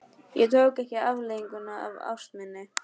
Ég tók ekki afleiðingum af ást minni.